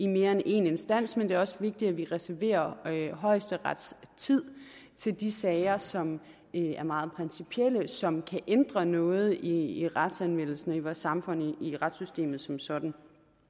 mere end én instans men det er også vigtigt at vi reserverer højesterets tid til de sager som er meget principielle og som kan ændre noget i retsanvendelsen i vores samfund i retssystemet som sådan